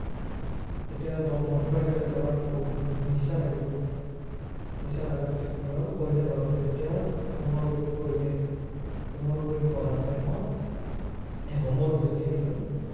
এতিয়া মদ খোৱাই দিলে, দৰাৰটো বহুত উম নিচা লাগি গল। নিচা লগাৰ পিছত কি হল, কইনা ঘৰতে যেতিয়া, হোমৰ গুৰিত বহিলে, হোমৰ গুৰিত বহা time ত হম হোমৰ গুৰিতে কি হল